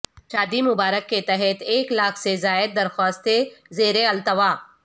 شادی مبارک کے تحت ایک لاکھ سے زائد درخواستیں زیر التواء